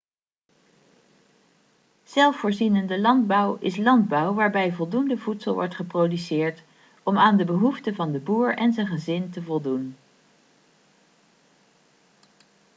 zelfvoorzienende landbouw is landbouw waarbij voldoende voedsel wordt geproduceerd om aan de behoeften van de boer en zijn gezin te voldoen